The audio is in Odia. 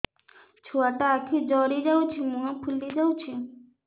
ଛୁଆଟା ଆଖି ଜଡ଼ି ଯାଉଛି ମୁହଁ ଫୁଲି ଯାଉଛି